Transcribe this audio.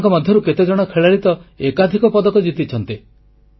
ଏମାନଙ୍କ ମଧ୍ୟରୁ କେତେଜଣ ଖେଳାଳି ତ ଏକାଧିକ ପଦକ ଜିତିଛନ୍ତି